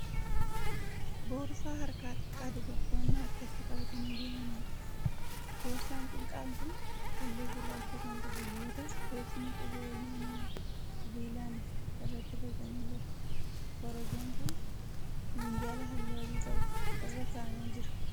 Boorsaa harkaa xiqqaa dubartoonni harkatti qabatanii deemanidha. Boorsaan xiqqaan kun halluu gurraacha kan qabu yoo ta'u bocni qubee lamaa sibiilaan irratti boocamee jira. Korojoon kun minjaala halluu adii qabu irra ka'amee jira.